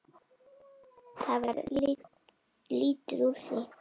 Það varð lítið úr því.